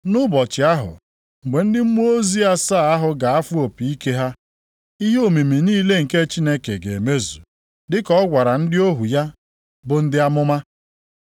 Nʼụbọchị ahụ, mgbe ndị mmụọ ozi asaa ahụ ga-afụ opi ike ha, ihe omimi niile nke Chineke ga-emezu, dịka ọ gwara ndị ohu ya bụ ndị amụma.